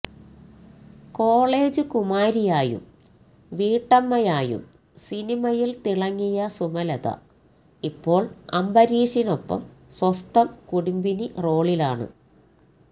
college കുമാരിയായും വീട്ടമ്മയായും സിനിമയില് തിളങ്ങിയ സുമലത ഇപ്പോള് അംബരീഷിനൊപ്പം സ്വസ്ഥം കുടുംബിനി റോളിലാണ്